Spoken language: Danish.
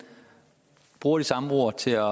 bruger de samme ord til at